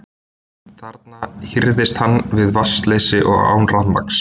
Þarna hírðist hann við vatnsleysi og án rafmagns.